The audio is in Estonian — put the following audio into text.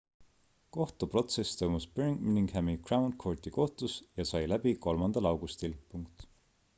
kohtuprotsess toimus birminghami crown courti kohtus ja sai läbi 3 augustil